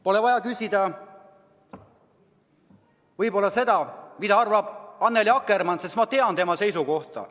Pole võib-olla vaja küsida, mida arvab Annely Akkermann, sest ma tean tema seisukohta.